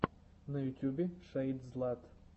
на ютубе шэйдзлат